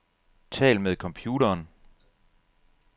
Tal med computeren.